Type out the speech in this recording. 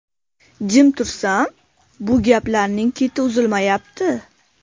Jim tursam, bu gaplarning keti uzilmayapti.